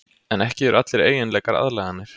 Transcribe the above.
En ekki eru allir eiginleikar aðlaganir.